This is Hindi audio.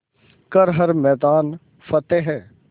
कर हर मैदान फ़तेह